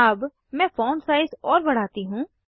अब मैं font size और बढ़ाती हूँ